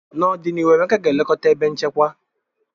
N'ọdịnihu, Emeka ga-elekọta ebe nchekwa.